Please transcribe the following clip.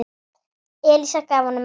Elísa gaf honum merki.